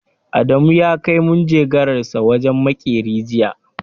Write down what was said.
Adamu ya kai manjagaransa wajen maƙeri jiya.